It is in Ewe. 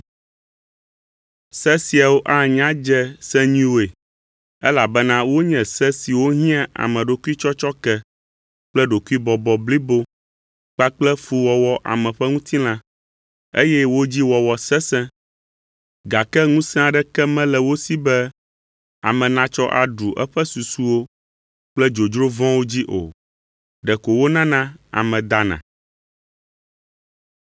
Se siawo anya dze se nyuiwoe, elabena wonye se siwo hiã ameɖokuitsɔtsɔke kple ɖokuibɔbɔ blibo kpakple fuwɔwɔ ame ƒe ŋutilã, eye wo dzi wɔwɔ sesẽ, gake ŋusẽ aɖeke mele wo si be ame natsɔ aɖu eƒe susuwo kple dzodzro vɔ̃wo dzi o. Ɖeko wonana ame dana.